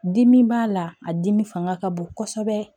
Dimi b'a la a dimi fanga ka bon kosɛbɛ